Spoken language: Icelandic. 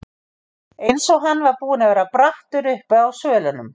Eins og hann var búinn að vera brattur uppi á svölunum.